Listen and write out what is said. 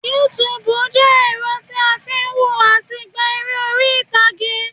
Yúutùbù jẹ́ ẹ̀rọ tí a n fi n wo àti gba eré oríìtààge